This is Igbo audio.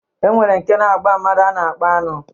E nwere nke na-agba mmadụ a na-akpọ aṅụ.